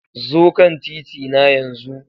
Zo kan titina yanzu!